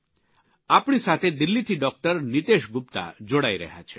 આવો આપણી સાથે દિલ્હીથી ડૉકટર નીતેશ ગુપ્તા જોડાઇ રહ્યા છે